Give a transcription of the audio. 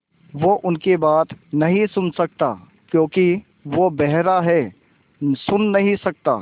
वो उनकी बात नहीं सुन सकता क्योंकि वो बेहरा है सुन नहीं सकता